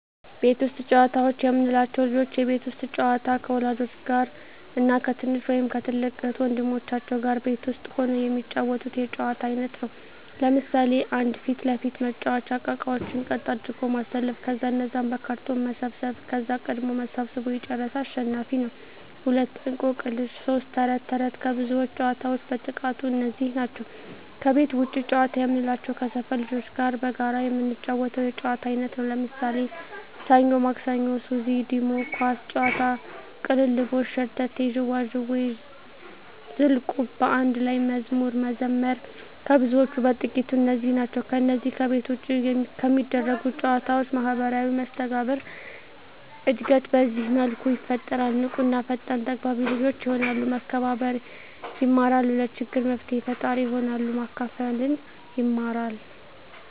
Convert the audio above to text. ቤት ውስጥ ጨዋታዎች የምንላቸው፦ ልጆች የቤት ውስጥ ጨዋታ ከወላጆች ጋር እና ከትንሽ ወይም ከትልቅ እህት ወንድሞቻቸው ጋር ቤት ውስጥ ሁነው የሚጫወቱት የጨዋታ አይነት ነው። ለምሣሌ 1. ፊት ለፊት መጫዎቻ እቃቃዎችን ቀጥ አድርጎ ማሠለፍ ከዛ እነዛን በካርቶን መሰብሠብ ከዛ ቀድሞ ሠብስቦ የጨረሠ አሸናፊ ነው፤ 2. እቆቅልሽ 3. ተረት ተረት ከብዙዎች ጨዋታዎች በጥቃቱ እነዚህ ናቸው። ከቤት ውጭ ጨዋታ የምንላቸው ከሠፈር ልጆች ጋር በጋራ የምንጫወተው የጨዋታ አይነት ነው። ለምሣሌ፦ ሠኞ ማክሠኞ፤ ሱዚ፤ ዲሞ፤ ኳስ ጨዋታ፤ ቅልልቦሽ፤ ሸርተቴ፤ ዥዋዥዌ፤ ዝልቁብ፤ በአንድ ላይ መዝሙር መዘመር ከብዙዎቹ በጥቂቱ እነዚህ ናቸው። ከነዚህ ከቤት ውጭ ከሚደረጉ ጨዎች ማህበራዊ መስተጋብር እድገት በዚህ መልኩ ይፈጠራል። ንቁ እና ፈጣን ተግባቢ ልጆች የሆናሉ፤ መከባበር የማራሉ፤ ለችግር መፍትሔ ፈጣሪ ይሆናሉ፤ ማካፈልን ይማራ፤